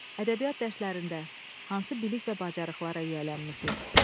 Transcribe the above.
Ədəbiyyat dərslərində hansı bilik və bacarıqlara yiyələnmisiniz?